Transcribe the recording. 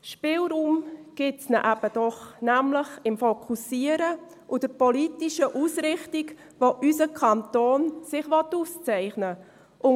Spielraum gibt es dann eben doch, nämlich im Fokussieren und der politischen Ausrichtung, worin sich unser Kanton auszeichnen will.